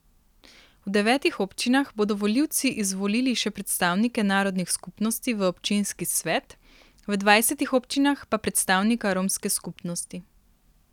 V devetih občinah bodo volivci izvolili še predstavnike narodnih skupnosti v občinski svet, v dvajsetih občinah pa predstavnika romske skupnosti.